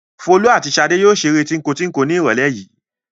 Folú àti Ṣadé yóò ṣeré tíńko-tíńko ní ìrọ́lẹ́ yìí.